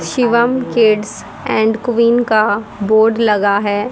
Shivam kids and queen का board लगा है।